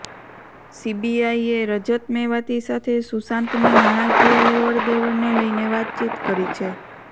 સીબીઆઈએ રજત મેવાતી સાથે સુશાંતની નાણાકીય લેવડ દેવડને લઈને વાતચીત કરી છે